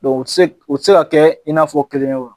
u tɛ se u tɛ se ka kɛ i n'a fɔ kelen ye o.